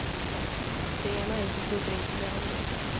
Det ena utesluter inte det andra.